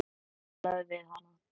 Talaðu við hana.